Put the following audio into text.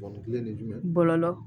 kelen de ye jumɛn ye n bala